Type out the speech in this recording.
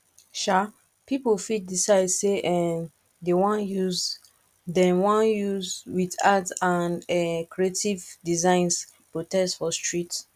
um pipo fit decide say um dem won use dem won use with arts and um creative designs protest for streets